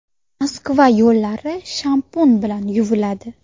Moskva yo‘llari shampun bilan yuviladi.